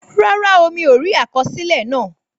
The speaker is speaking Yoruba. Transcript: Rárá o, mi ò rí àkọsílẹ̀ náà